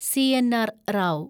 C. N R. Rao